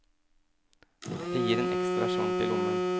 Det gir en ekstra slant i lommen.